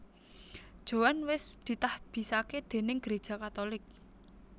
Joan wés ditahbisaké déning Gereja Katolik